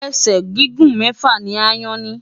Ẹ̀sẹ̀ gígùn mẹ́fà ni aáyán ní.